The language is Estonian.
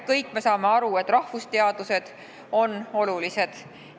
Kõik me saame aru, et ka rahvusteadused on olulised.